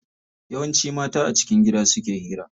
Yawanci mata a cikin gida suke hira.